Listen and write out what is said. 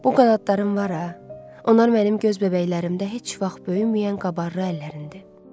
Bu qanadların var ha, onlar mənim göz bəbəklərimdə heç vaxt böyüməyən qabarlı əllərindi.